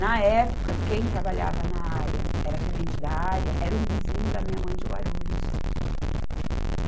Na época, quem trabalhava na área, era tenente da área, era um vizinho da minha mãe de Guarulhos.